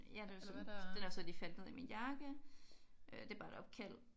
Ja den er så den er så lige faldet ned i min jakke. Det er bare et opkald